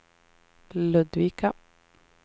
Ludvika